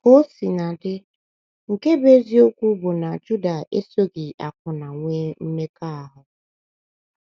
Ka o sina dị, nke bụ́ eziokwu bụ na Juda esoghị akwụna nwee mmekọahụ.